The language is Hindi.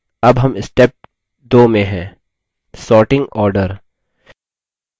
अब हम step 2 में हैंsorting order